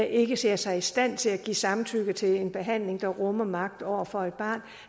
ikke ser sig i stand til at give samtykke til en behandling der rummer magt over for et barn